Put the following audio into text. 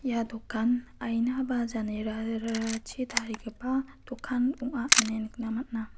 ia dokan aina ba janerachi tarigipa dokan ong·a ine nikna man·a.